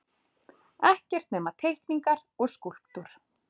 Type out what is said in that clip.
Ekkert nema teikningar og skúlptúr.